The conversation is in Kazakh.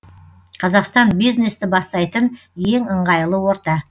қазақстан бизнесті бастайтын ең ыңғайлы орта